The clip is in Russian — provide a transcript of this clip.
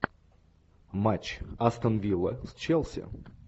матч астон вилла с челси